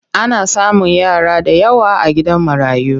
Ana samun yara da yawa a gidan marayu.